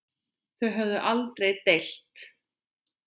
Þau höfðu aldrei deilt.